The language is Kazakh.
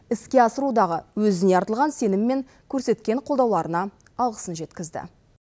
іске асырудағы өзіне артылған сенім мен көрсеткен қолдауларына алғысын жеткізді